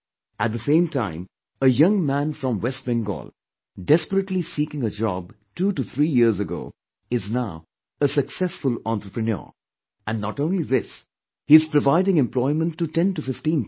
At the same time a young man from West Bengal desperately seeking a job two to three years ago is now a successful entrepreneur ; And not only this he is providing employment to ten to fifteen people